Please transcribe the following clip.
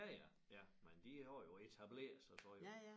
Ja ja ja men de er jo etableret sig så jo